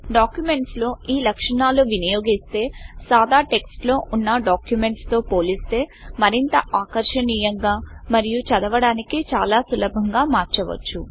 documents లో ఈ లక్షణాలు వివియోగిస్తే సాదా టెక్స్ట్లో లో వున్న డాక్యుమెంట్సతో పోలిస్తే మరింత ఆకర్షణీయంగా మరియు చదవడానికి చాలా సులభంగా మార్చవచ్చు